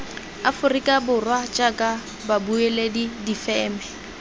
aforika borwa jaaka babueledi difeme